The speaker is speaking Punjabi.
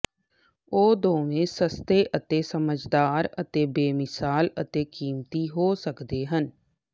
ਉਹ ਦੋਵੇਂ ਸਸਤੇ ਅਤੇ ਸਮਝਦਾਰ ਅਤੇ ਬੇਮਿਸਾਲ ਅਤੇ ਕੀਮਤੀ ਹੋ ਸਕਦੇ ਹਨ